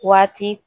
Waati